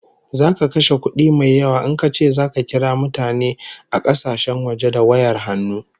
Zaka kashe kudi mai yawa in kace zaka kira mutane a kasashen waje da wayar hannu